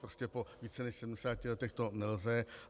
Prostě po více než 70 letech to nelze.